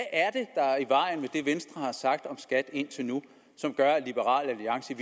det venstre har sagt om skat indtil nu som gør at liberal alliance i